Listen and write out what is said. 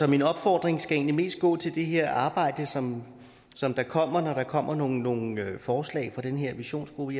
min opfordring skal egentlig mest gå til det her arbejde som som der kommer når der kommer nogle nogle forslag fra den her visionsgruppe